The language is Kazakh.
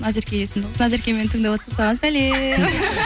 назерке есімді қыздар назерке мені тыңдап отырсаң саған сәлем